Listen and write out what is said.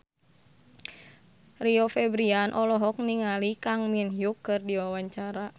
Rio Febrian olohok ningali Kang Min Hyuk keur diwawancara